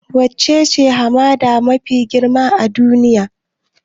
Wacce hamada ce mafi girma a duniya?